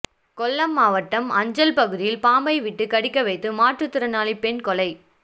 கொல்லம் மாவட்டம் அஞ்சல் பகுதியில் பாம்பை விட்டு கடிக்க வைத்து மாற்றுத்திறனாளி பெண் கொலை